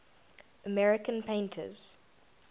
american painters